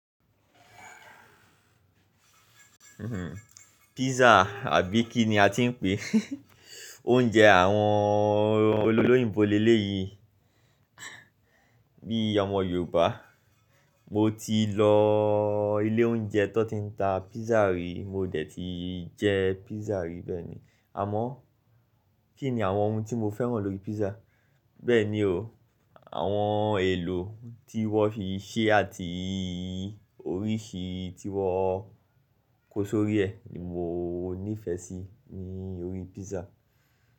Pizza àbí kí ni a ti ń pé oúnjẹ àwọn olólòyinbo lé léeyìí. Bí i ọmọ Yorùbá mo ti lọ ilé oúnjẹ tó ti ń ta pizza rí, mo dẹ̀ ti jẹ pizza rí bẹ́ẹ̀ ni. Àmọ́ kí ni àwọn ohun tí mo fẹ́ràn lórí pizza? Bẹ́ẹ̀ ni o, àwọn èlò tí wọ́n fi ṣe àti oríṣi tí wọ́n kó sórí ẹ ni mo nífẹ̀ẹ́ sí ní orí pizza.